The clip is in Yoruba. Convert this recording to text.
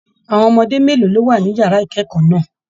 Àwọn ọmọdé mélòó ló wà nínú yàrá ikẹkọọ náà?